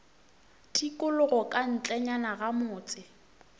tikologo ka ntlenyana ga motse